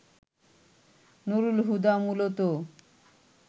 নুরুল হুদা মূলত